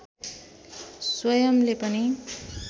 स्वयंले पनि